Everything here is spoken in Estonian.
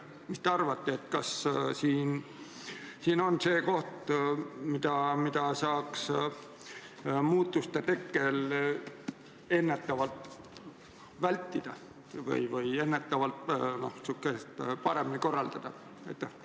Mis te arvate, kas see on asi, mida saaks muutuste tekkimise korral ennetavalt vältida või ennetavalt, noh, kõike paremini korraldada?